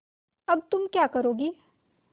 अब तुम क्या करोगी